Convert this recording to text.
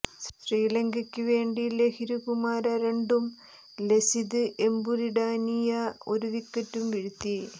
ശ്രീലങ്കയ്ക്കുവേണ്ടി ലഹിരു കുമാര രണ്ടും ലസിത് എംബുല്ഡാനിയ ഒരു വിക്കറ്റും വീഴ്ത്തി